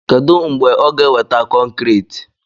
Kedu mgbe ọ ga-eweta kọnkriiti?